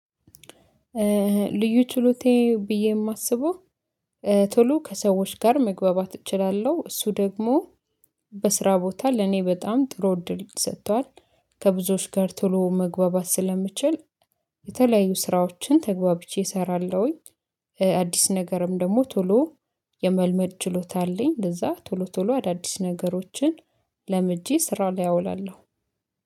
ልዩ ችሎቴ ብዬ የማስበው ቶሎ ከሰዎች ጋር መግባባት እችላለሁ እሱ ደግሞ በስራ ቦታ ለኔ በጣም ጥሩ እድል ሰጥቷል። ከብዙዎች ጋር ቶሎ መግባባት ስለምችል የተለያዩ ስራዎችን ተግባብቼ እሰራለሁኝ። አዲስ ነገርም ደግሞ ቶሎ የመልመድ ችሎታ አለኝ። እንደዛ ቶሎ ቶሎ አዳዲስ ነገሮችን ለምጄ ስራ ላይ አውላለሁ።